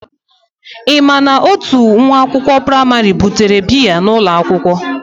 Ị ma na, otu nwa akwụkwọ praịmarị butere biya n'ụlọ akwụkwọ?